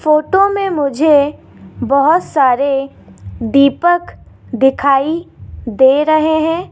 Photo में मुझे बहुत सारे दीपक दिखाई दे रहे हैं।